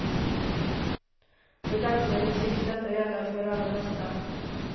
Och i dagsläget tycks detta gälla för de allra flesta.